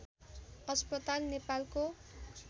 अस्पताल नेपालको